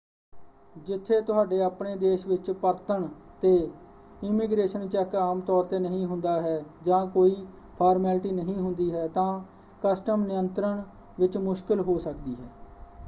ਜਿੱਥੇ ਤੁਹਾਡੇ ਆਪਣੇ ਦੇਸ਼ ਵਿੱਚ ਪਰਤਣ ‘ਤੇ ਇਮੀਗ੍ਰੇਸ਼ਨ ਚੈੱਕ ਆਮਤੌਰ ‘ਤੇ ਨਹੀਂ ਹੁੰਦਾ ਹੈ ਜਾਂ ਕੋਈ ਫਾਰਮੈਲਿਟੀ ਨਹੀਂ ਹੁੰਦੀ ਹੈ ਤਾਂ ਕਸਟਮ ਨਿਯੰਤਰਣ ਵਿੱਚ ਮੁਸ਼ਕਲ ਹੋ ਸਕਦੀ ਹੈ।